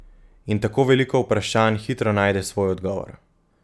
In tako veliko vprašanj hitro najde svoj odgovor.